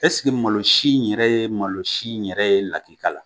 malosi in yɛrɛ ye malosi yɛrɛ ye lakikala?